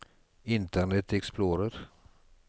internet explorer